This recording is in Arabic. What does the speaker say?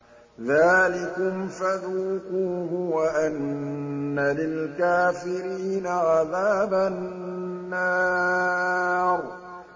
ذَٰلِكُمْ فَذُوقُوهُ وَأَنَّ لِلْكَافِرِينَ عَذَابَ النَّارِ